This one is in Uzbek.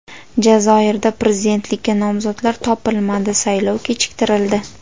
Jazoirda prezidentlikka nomzodlar topilmadi, saylov kechiktirildi.